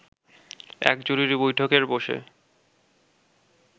এক জরুরী বৈঠকে বসে